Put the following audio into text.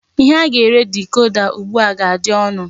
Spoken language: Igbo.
Ihe a ga-ere dikoda ugbu a ga-adị ọnụ.